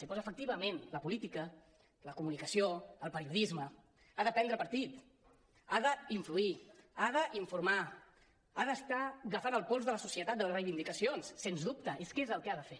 doncs efectivament la política la comunicació el periodisme han de prendre partit han d’influir han d’informar han d’estar agafant el pols de la societat de les reivindicacions sens dubte és que és el que han de fer